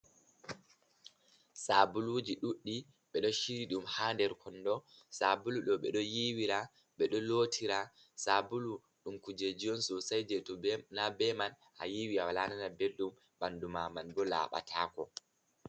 Sabuluji ɗuuɗi, ɓe ɗo shiryi ɗum ha nder kondo, sabulu ɗo ɓeɗo yiwira, ɓe ɗo lotira, sabulu ɗum kujeji on sosai je to na be man a yiwi a walanana beldum, banduma man bo laɓa tako.